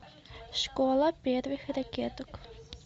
школа первых ракеток